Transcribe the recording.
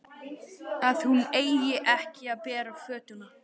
Að hún eigi ekki að bera fötuna.